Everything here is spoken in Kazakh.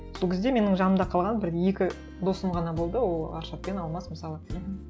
сол кезде менің жанымда қалған бір екі досым ғана болды ол аршат пен алмас мысалы